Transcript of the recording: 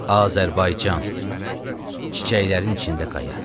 Azərbaycan çiçəklərin içində qaya.